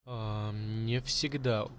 аа не всегда